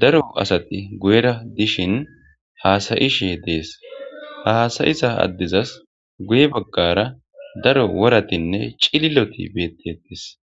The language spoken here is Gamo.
daro assathi guyera dishin hassi'she dess. Ha hassai'zza addezzas guye bagar daro worathinne cilillothi bethethess.